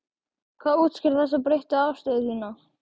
Hvað útskýrir þessa breyttu afstöðu þína?